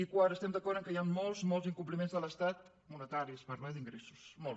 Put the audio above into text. i quart estem d’acord que hi han molts molts incompliments de l’estat monetaris parlo eh d’ingressos molts